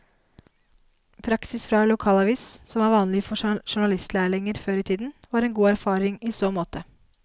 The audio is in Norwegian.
Praksis fra lokalavis, som var vanlig for journalistlærlinger før i tiden, var en god erfaring i så måte.